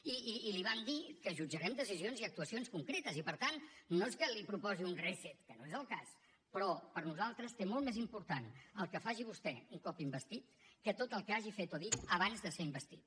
i li vam dir que jutjarem decisions i actuacions concretes i per tant no és que li proposi un reset que no és el cas però per nosaltres és molt més important el que faci vostè un cop investit que tot el que hagi fet o dit abans de ser investit